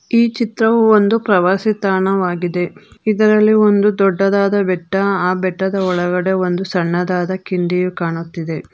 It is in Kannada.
ಈ ಚಿತ್ರವು ಒಂದು ಪ್ರವಾಸಿ ತಾಣವಾಗಿದೆ ಇದರಲ್ಲಿ ಒಂದು ದೊಡ್ಡದಾದ ಬೆಟ್ಟ ಆ ಬೆಟ್ಟದ ಒಳಗಡೆ ಒಂದು ಸಣ್ಣದಾದ ಕಿಂಡಿಯು ಕಾಣುತ್ತಿದೆ.